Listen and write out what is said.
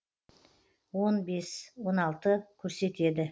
он бес он алты көрсетеді